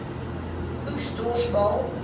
oes dors baal